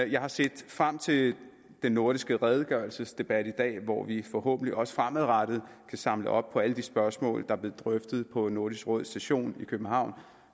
jeg har set frem til den nordiske redegørelsesdebat i dag hvor vi forhåbentlig også fremadrettet kan samle op på alle de spørgsmål der blev drøftet på nordisk råds session i københavn